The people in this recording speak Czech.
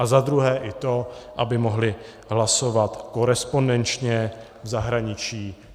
A za druhé i to, aby mohli hlasovat korespondenčně v zahraničí.